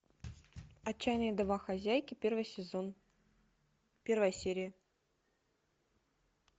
отчаянные домохозяйки первый сезон первая серия